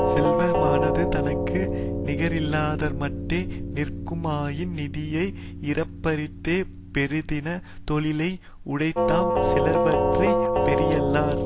செல்வமானது தனக்கு நிகரில்லாதார்மாட்டே நிற்குமாயின் நிதியை இறப்பாரிடத்தே பொருந்தின தொழிலை உடைத்தாம் சிலவற்றை பெரியரல்லர்